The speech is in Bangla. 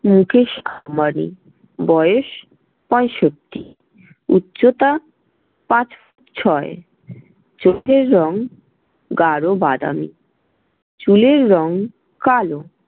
মুকেশ আম্বানি, বয়স- পঁয়ষট্টি, উচ্চতা- পাঁচ ফুট ছয়, চোখের রং- গাঢ় বাদামি, চুলের রং- কালো ।